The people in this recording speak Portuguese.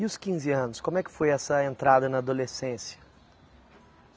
E os quinze anos, como é que foi essa entrada na adolescência?